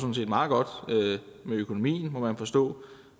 meget godt med økonomien må man forstå